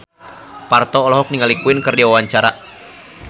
Parto olohok ningali Queen keur diwawancara